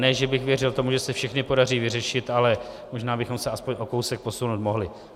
Ne že bych věřil tomu, že se všechny podaří vyřešit, ale možná bychom se aspoň o kousek posunout mohli.